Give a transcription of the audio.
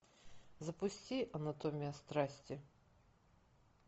запусти анатомия страсти